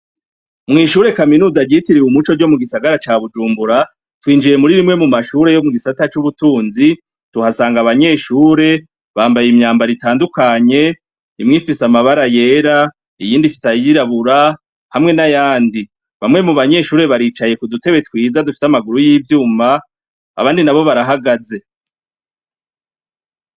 mw'ishure kaminuza ryitiriwe umuco ryo mu gisagara ca bujumbura twinjiye muri bimwe mu mashure yo mu gisata c'ubutunzi tuhasanga abanyeshure bambaye imyambaro itandukanye imwe ifise amabara yera, iyindi ifise ayirabura hamwe n'ayandi bamwe mu banyeshure baricaye ku dutebe twiza dufise amaguru y'ivyuma abandi na bo barahagaze.